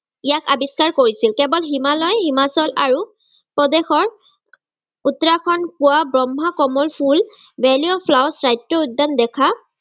ইয়াক আৱিস্কাৰ কৰিছিল। কেৱল হিমালয়, হিমাচল আৰু প্ৰদেশৰ উত্তৰাখণ্ডত পোৱা ব্ৰক্ষ্ম-কমল ফুল valley of flowers উদ্যান দেখা